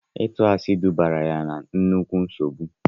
Ịtụ asị dubara ya na nnukwu nsogbu.